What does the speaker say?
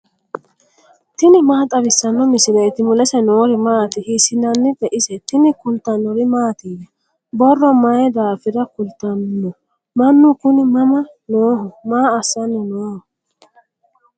tini maa xawissanno misileeti ? mulese noori maati ? hiissinannite ise ? tini kultannori mattiya? borro mayi daafirra kulittanno? Mannu kunni mama nooho? Maa assanni noo?